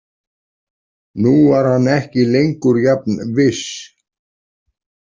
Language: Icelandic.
Nú var hann ekki lengur jafn viss.